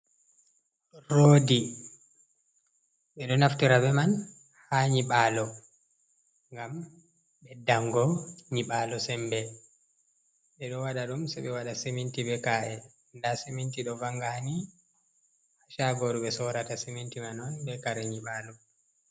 Roodi ɓe ɗo naftira be man ha nyiɓaalo ngam ɓeddango nyiɓaalo sembe, ɓe ɗo waɗa ɗum sei ɓe waɗa seminti be ka’e, nda seminti do vanga ni Shaagoru ɓe sorata seminti man on be kare nyiɓaalo.